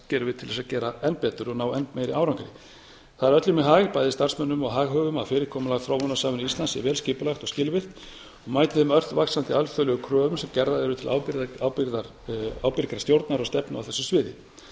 gerum við til að gera enn betur og ná enn meiri árangri það er öllum í hag bæði starfsmönnum og haghöfum að fyrirkomulag þróunarsamvinnu íslands sé vel skipulagt og skilvirkt og mæti þeim ört vaxandi alþjóðlegu kröfum sem gerðar eru til ábyrgrar stjórnar og stefnu á þessu sviði